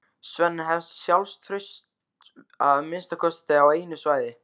Svenni hefur sjálfstraust að minnsta kosti á einu sviði.